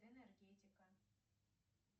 энергетика